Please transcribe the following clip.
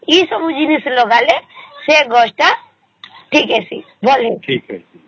ଏ ସବୁ ଜିନିଷ ଲାଗ ଲେ ସେ ଗଛ ଏ ତା ଭଲ ହେଇଚି